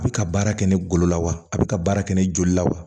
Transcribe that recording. A bɛ ka baara kɛ ni golo la wa a bɛ ka baara kɛ ni joli la wa